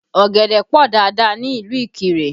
Ọ̀gẹ̀dẹ̀ pọ dáadáa ní ìlú Ikire